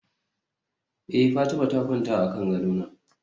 eh Fatima ta kwanta akan gadona